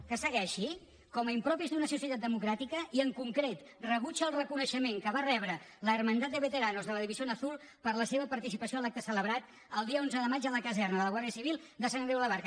que segueixi com a impropis d’una societat democràtica i en concret rebutja el reconeixement que va rebre la hermandad de veteranos de la división azul per la seva participació a l’acte celebrat el dia onze de maig a la caserna de la guàrdia civil de sant andreu de la barca